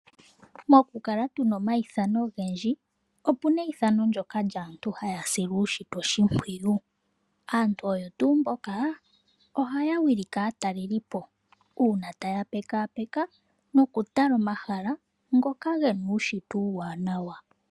Mokukala tuna omaithano ogendji ,otuna eithano lyaantu mboka haa sile uushitwe oshimpwiyu. Aantu oyo tuu mboka ohaa wilike aatalelipo uuna taa pekapeka nokutala omahala ngoka gena uushitwe uuwanawa.